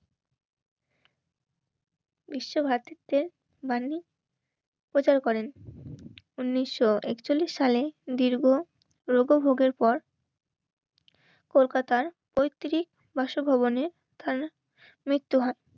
বিশ্বভারতীতে বাণী প্রচার করেন উনিশশো একচল্লিশ সালে দীর্ঘ রোগভোগের পর কলকাতার পৈতৃক বাসভবনে তার মৃত্যু হয়